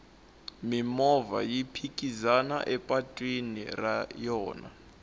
mimovha yi phikizana epatwini ra yona